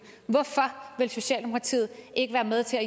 hvorfor vil socialdemokratiet ikke være med til at